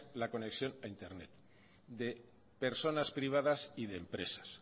la conexión a internet de personas privadas y de empresas